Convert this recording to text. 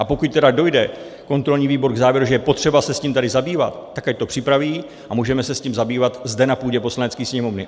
A pokud tedy dojde kontrolní výbor k závěru, že je potřeba se s tím tady zabývat, tak ať to připraví a můžeme se s tím zabývat zde na půdě Poslanecké sněmovny.